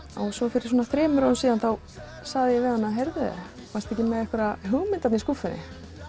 fyrir svona þremur árum þá sagði ég við hana heyrðu varstu ekki með einhverja hugmynd í skúffunni